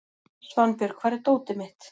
Svanbjörg, hvar er dótið mitt?